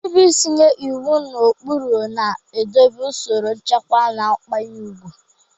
Nrube isi nye iwu na ụkpụrụ na-edobe usoro, nchekwa, na nkwanye ùgwù.